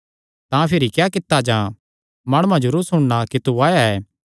तां भिरी क्या कित्ता जां माणुआं जरूर सुणना कि तू आया ऐ